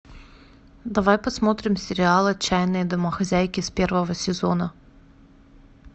давай посмотрим сериал отчаянные домохозяйки с первого сезона